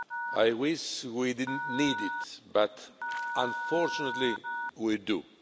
I wish we didn't need it, but unfortunately we do.